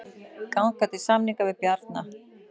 Ganga til samninga við Bjarna